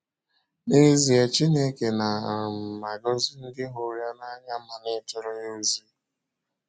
N’ezie, Chineke na um - agọzi ndị hụrụ ya n’anya ma na - ejere ya ozi.